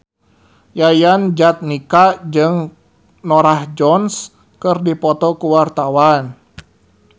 Yayan Jatnika jeung Norah Jones keur dipoto ku wartawan